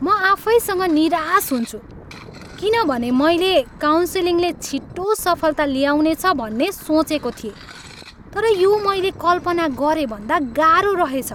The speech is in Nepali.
म आफैसँग निराश हुन्छु किनभने मैले काउन्सिलिङले छिटो सफलता ल्याउनेछ भन्ने सोचेको थिएँ, तर यो मैले कल्पना गरेभन्दा गाह्रो रहेछ।